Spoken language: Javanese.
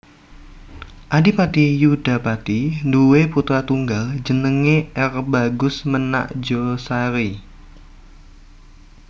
Adipati Yudapati duwé putra tunggal jenengé R Bagus Menakjosari